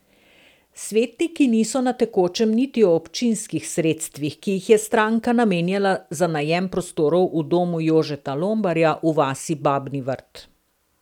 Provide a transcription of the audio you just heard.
Svetniki niso na tekočem niti o občinskih sredstvih, ki jih je stranka namenjala za najem prostorov na domu Jožeta Lombarja v vasi Babni Vrt.